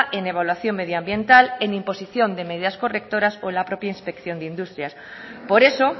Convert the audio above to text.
en evaluación medioambiental en imposición de medidas correctoras o en la propia inspección de industrias por eso